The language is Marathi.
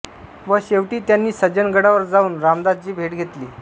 व शेवटी त्यांनी सज्जनगडावर जाऊन रामदासांची भेट घेतली